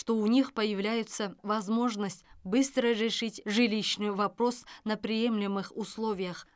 что у них появляется возможность быстро решить жилищный вопрос на приемлемых условиях